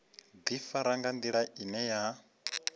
ḓifara nga nḓila ine ya